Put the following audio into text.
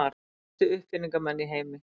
Mestu uppfinningamenn í heimi.